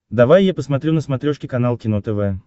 давай я посмотрю на смотрешке канал кино тв